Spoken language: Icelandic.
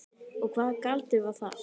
Og hvaða galdur var það?